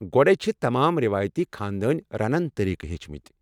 گۄڈے ژےٚ چھِ تمام ریوایتی خانٛدٲنۍ رَنن طریٖقہٕ ہیٚچھمٕتۍ ؟